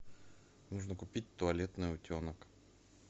нужно купить туалетный утенок